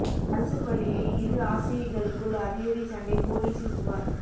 அரசு பள்ளியில் இரு ஆசிரியைகளுக்குள் அடி தடி சண்டைபோலீசில் புகார்